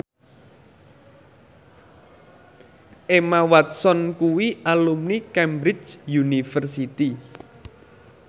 Emma Watson kuwi alumni Cambridge University